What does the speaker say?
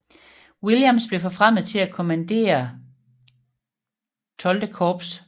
Williams blev forfremmet til at kommandere XII Korps